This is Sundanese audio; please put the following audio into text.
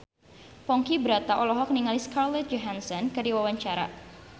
Ponky Brata olohok ningali Scarlett Johansson keur diwawancara